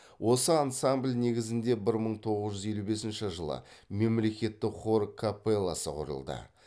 осы ансамбль негізінде бір мың тоғыз жүз елу бесінші жылы мемлекеттік хор капелласы құрылды